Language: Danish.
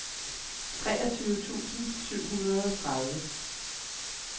treogtyve tusind syv hundrede og tredive